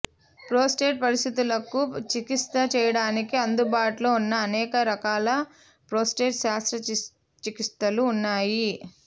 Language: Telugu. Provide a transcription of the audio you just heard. ప్రోస్టేట్ పరిస్థితులకు చికిత్స చేయడానికి అందుబాటులో ఉన్న అనేక రకాల ప్రోస్టేట్ శస్త్రచికిత్సలు ఉన్నాయి